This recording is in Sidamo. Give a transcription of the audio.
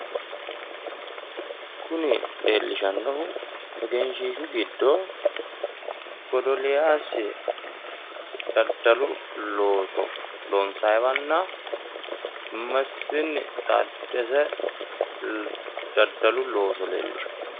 kuni leellishshannonu egenshshiishu giddo godoliyaasi daddalu looso loonsayiiwanna mesfini taaddese daddalu looso leellishanno.